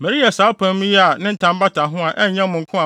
Mereyɛ saa apam yi a ne ntam bata ho a, ɛnyɛ mo nko a,